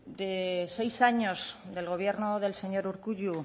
de seis años del gobierno del señor urkullu